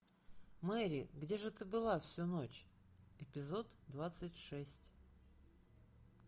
мэри где же ты была всю ночь эпизод двадцать шесть